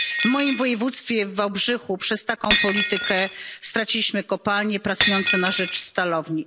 W moim województwie w Wałbrzychu przez taką politykę straciliśmy kopalnie pracujące na rzecz stalowni.